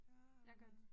Ja hvad?